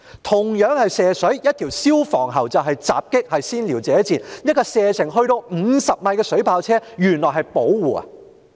同樣是射水，但用消防喉便是襲擊，是先撩者賤；而使用射程達50米的水炮車原來卻是保護。